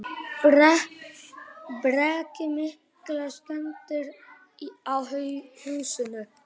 Breki: Miklar skemmdir á húsinu?